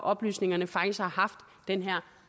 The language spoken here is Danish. oplysningerne faktisk har haft den her